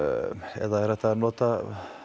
eða er hægt að nota